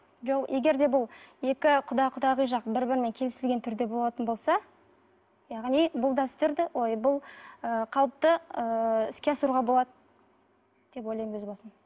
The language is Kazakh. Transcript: жоқ егер де бұл екі құда құдағи жақ бір бірімен келісілген түрде болатын болса яғни бұл дәстүрді ой бұл ы қалыпты ыыы іске асыруға болады деп ойлаймын өз басым